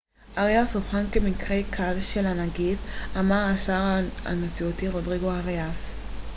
אריאס אובחן כמקרה קל של הנגיף אמר השר הנשיאותי רודריגו אריאס